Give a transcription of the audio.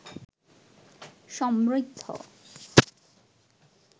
সমৃদ্ধ